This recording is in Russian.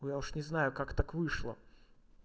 я уж не знаю как так вышло